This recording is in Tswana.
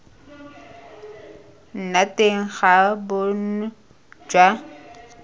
nna teng ga bonno jwa